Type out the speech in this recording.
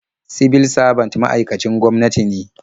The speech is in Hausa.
Sibil sabant ma'aikacin gwamnati ne.